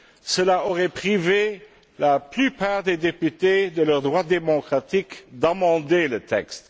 Cela aurait privé la plupart des députés de leur droit démocratique d'amender le texte.